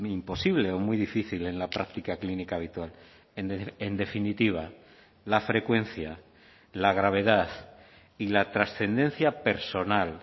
imposible o muy difícil en la práctica clínica habitual en definitiva la frecuencia la gravedad y la trascendencia personal